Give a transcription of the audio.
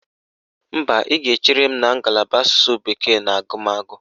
Mba, ị ga-echere m na ngalaba Asụsụ bekee na agụmagụ